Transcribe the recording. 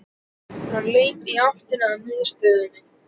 Hann leit í áttina að miðasölunni.